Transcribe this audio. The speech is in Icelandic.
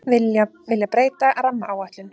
Vilja breyta rammaáætlun